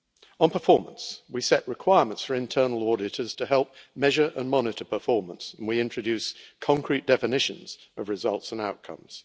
On performance, we set requirements for internal auditors to help measure and monitor performance and we introduced concrete definitions of results and outcomes.